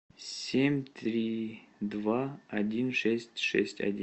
семь три два один шесть шесть один